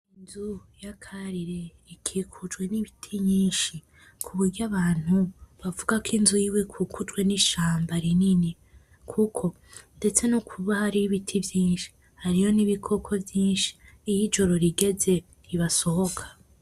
Inzu ya Karire ikikujwe n'ibiti nyinshi, kuburyo abantu bavuga ko inzu yiwe ikikujwe n'ishamba rinini, kuko ndetse no kuba hariho ibiti vyinshi hariyo n'ibikoko vyinshi. Iyo ijoro rigeze ntibasohoka.